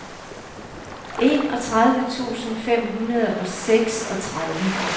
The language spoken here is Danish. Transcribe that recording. enogtredive tusind fem hundrede og seksogtredive